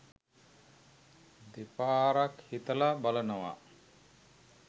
දෙපාරක් හිතලා බලනවා.